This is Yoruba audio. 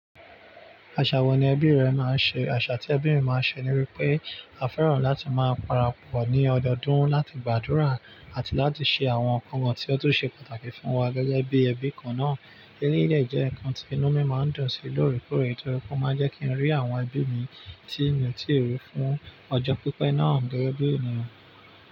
Aṣa wo ni ẹbí rẹ máa ń ṣe? Aṣa tí ẹbí mi máa ń ṣe ni wípé a fẹ́ràn láti máa parapọ̀ ní ọdọdún láti gbàdúrà àti láti ṣe àwọn nnkan tí ó tún ṣe pàtàkì fún wa gẹ́gẹ́ bí ẹbí kan náà. Eléyìí dẹ̀ jẹ́ nǹkan tí inú mi máa ń dùn sí lóórè kóórè, nítorí pé ó máa jẹ́ kí n rí àwọn ẹbí mi tí ń tììri fún ọjọ́ pípẹ́ náà gẹ́gẹ́ bí ènìyàn.